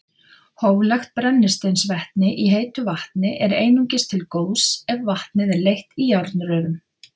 Hóflegt brennisteinsvetni í heitu vatni er einungis til góðs ef vatnið er leitt í járnrörum.